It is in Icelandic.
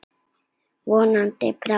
Vonandi bráðum.